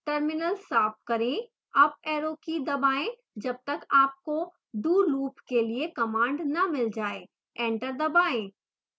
terminal साफ करें up arrow key दबाएं जब तक आपको do loop के लिए कमांड न मिल जाय एंटर दबाएं